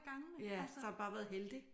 Ja så har han bare været heldig